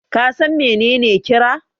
ka san menene kira?